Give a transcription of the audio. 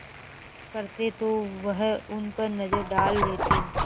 करते तो वह उन पर नज़र डाल लेते